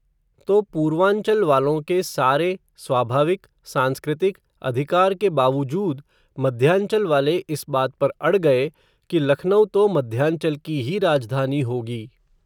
तो पूर्वांचल वालों के सारे, स्वाभाविक, सांस्कृतिक, अधिकार के बावुजूद, मध्यांचल वाले इस बात पर अड़ गये, कि लखनऊ तो मध्यांचल की ही राजधानी होगी